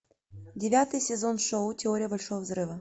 девятый сезон шоу теория большого взрыва